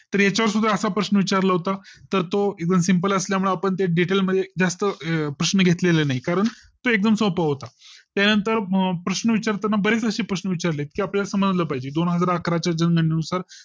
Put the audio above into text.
तर याचा वर सुद्धा असा प्रश्न विचार ला होता तर तो even Simple असल्यामुळे आपण ते Details मध्ये जास्त प्रश्न घेतलेले नाही कारण तो एकदम सोपा होता त्यानंतर प्रश्न विचार ताना बरीचशी प्रश्न विचारले की आपल्या ला समजलं पाहिजे दोन हजार अकरा च्या जनगणने नुसार